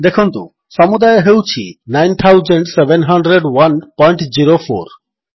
ଦେଖନ୍ତୁ ସମୁଦାୟ ହେଉଛି 970104